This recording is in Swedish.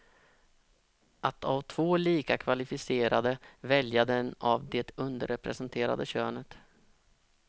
Att av två lika kvalificerade välja den av det underrepresenterade könet.